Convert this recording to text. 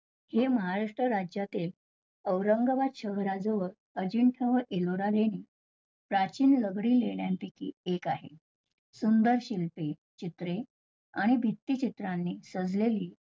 हे महाराष्ट्र राज्यातील औरंगाबाद शहराजवळ अजिंठा एलोरा लेणी प्राचीन दगडी लेण्यांपैकी एक आहे. सुंदर शिल्पी चित्रे आणि भित्ती क्षेत्राने सजलेली